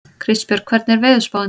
Kristbjörg, hvernig er veðurspáin?